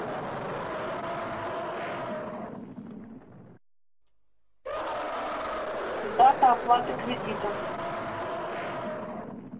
дата оплаты кредита